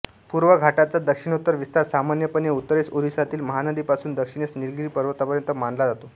पूर्व घाटाचा दक्षिणोत्तर विस्तार सामान्यपणे उत्तरेस ओरिसातील महानदीपासून दक्षिणेस निलगिरी पर्वतापर्यंत मानला जातो